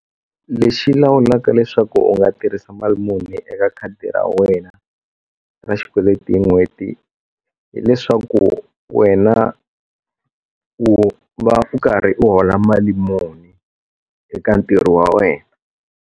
Lexi lawulaka leswaku u nga tirhisa mali muni eka khadi ra wena ra xikweleti hi n'hweti hileswaku wena u va u karhi u hola mali muni eka ntirho wa wena.